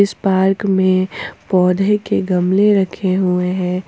इस पार्क में पौधे के गमले रखे हुए हैं।